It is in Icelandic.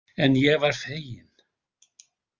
En ég var fegin.